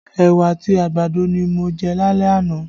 Ẹwà àti àgbàdo ni mo jẹ́ lálẹ́ àná